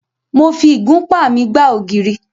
Mo fi ìgúnpá mi gbá ògiri.